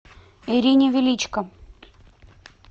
ирине величко